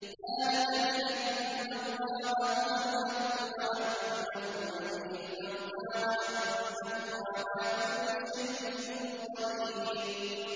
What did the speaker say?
ذَٰلِكَ بِأَنَّ اللَّهَ هُوَ الْحَقُّ وَأَنَّهُ يُحْيِي الْمَوْتَىٰ وَأَنَّهُ عَلَىٰ كُلِّ شَيْءٍ قَدِيرٌ